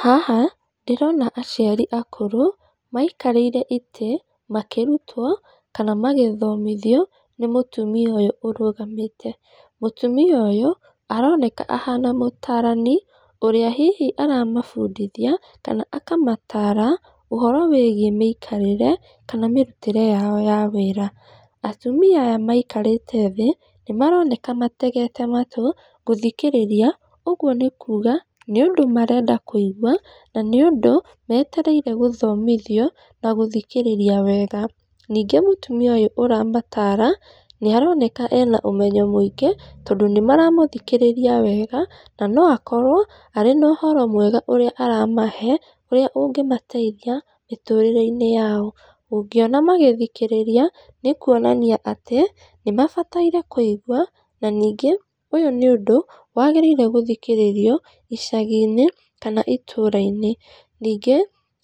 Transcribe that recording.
Haha ndĩrona aciri akũrũ, maikarĩire itĩ makĩrutwo kana magĩthomithio nĩ mutumia ũyũ ũrũgamĩte. Mũtumia ũcio ũyũ aroneka ahana mũtaarani ũrĩa hihi aramabundithia kana akamataara ũhoro wĩgiĩ mĩĩkarĩre kana mĩrutĩre yao ya wĩra. Atumia aya maikarĩte thĩ, nĩ maroneka mategete matũ, gũthikĩrĩria ũguo nĩ kuuga nĩ ũndũ marenda kũigua, na nĩ ũndũ metereire gũthomithio na gũthikĩrĩria wega. Ningĩ mũtumia ũyũ ũramataara, nĩ aroneka ena ũmenyo mĩingĩ, tondũ nĩ maramũthikĩrĩria wega, na no akorwo arĩ na ũhoro mwega ũrĩa aramahe, ũrĩa ũngĩmateithĩa mĩtũrĩre-inĩ yao. Ũngĩona magĩthikĩrĩria, nĩ kuonania atĩ nĩ mabataire kũigwa, na ningĩ ũyũ nĩ ũndũ wagĩrĩire gũthikĩrĩrio icagi-inĩ kana itũra-inĩ. Ningĩ,